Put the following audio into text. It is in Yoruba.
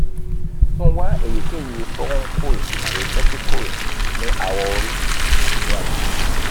tun wa eyikeyi cs] furuncle tabi vesicle ni awọ-ori tabi ni agbegbe